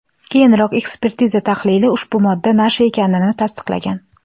Keyinroq ekspertiza tahlili ushbu modda nasha ekanini tasdiqlagan.